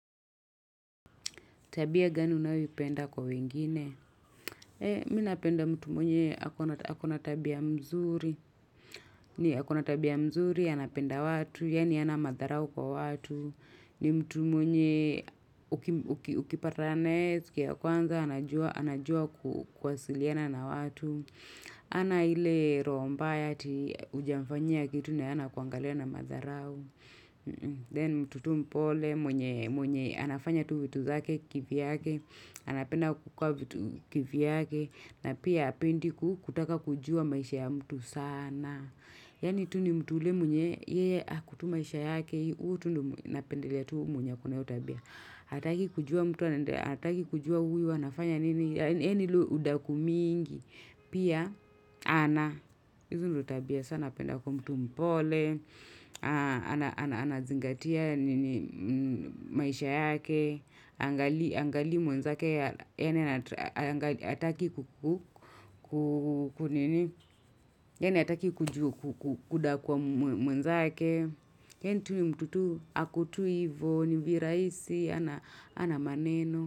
Tabia gani unayopenda kwa wengine? Minapenda mtu mwenye akona tabia mzuri. Ni akona tabia mzuri, anapenda watu, yani ana madharau kwa watu. Ni mtu mwenye ukipatanae, siku ya kwanza, anajua kuwasiliana na watu. Hana ile roho mbaya tii ujamfanyia kitu naye ana kuangalia na madharau. Then mtu tu mpole, mwenye anafanya tu vitu zake kivi vyake. Anapenda kukua vitu kivyake. Na pia apendi kutaka kujua maisha ya mtu sana. Yani tu ni mtu yule mwenye. Yee ako tu maisha yake. Uo tu ndo napendelea tu mwenye ako na hiyo tabia. Ataki kujua mtu. Ataki kujua uyu wanafanya nini. Eni tu udaku mingi. Pia ana. Izo ndo tabia sana. Anapenda kuwa mtu mpole. Anazingatia nini maisha yake. Aangali mwenzake yaani ataki kudakua mwenzake Eni tu nimtu tu akutui ivo ni viraisi, hana maneno.